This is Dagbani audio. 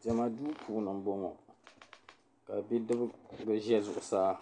Diɛma duu puuni m-bɔŋɔ ka bidibiga ŋɔ za zuɣusaa